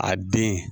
A den